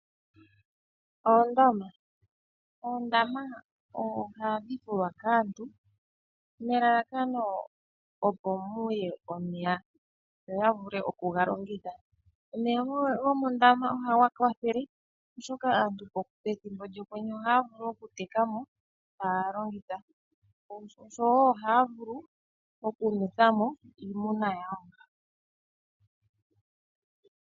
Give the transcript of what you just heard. Ondama, oondama ohadhi fukwa kaantu nelalakano opo muye omeya opo ya vule oku ga longitha. Omeya gomoondama ohaga kwathele oshoka aantu pethimbo lyokwenye ohaya vulu oku tekamo taya longitha oshowo ohaya vulu oku nwethwa mo iimuna yawo.